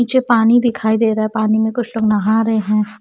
नीचे पानी दिखाई दे रहा है पानी मे कुछ लोग नहा रहे है।